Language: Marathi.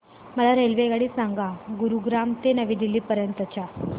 मला रेल्वेगाडी सांगा गुरुग्राम ते नवी दिल्ली पर्यंत च्या